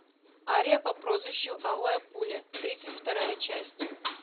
ария по прозвищу алая пуля тридцать вторая часть